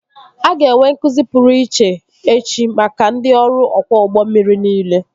A ga-enwe nkụzi pụrụ iche echi maka ndị ọrụ ọkwọ ụgbọ mmiri niile